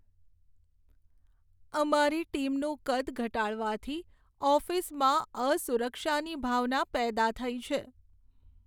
અમારી ટીમનું કદ ઘટાડવાથી ઓફિસમાં અસુરક્ષાની ભાવના પેદા થઈ છે.